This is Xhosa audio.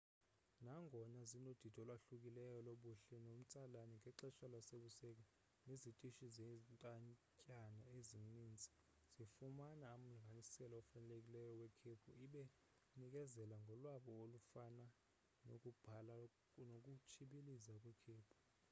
nangona zinodidi olwahlukileyo lobuhle nomtsalane ngexesha lasebusika nezitishi zentatyana ezinintsi zifumana umlinganiselo ofanelekileyo wekhephu ibe inikezela ngolwabo olufana nokubhabha nokutshibiliza kwikhephu